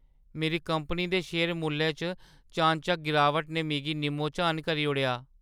मेरी कंपनी दे शेयर मुल्लै च चानचक्क गिरावट ने मिगी निम्मो-झान करी ओड़ेआ।